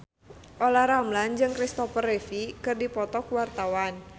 Olla Ramlan jeung Kristopher Reeve keur dipoto ku wartawan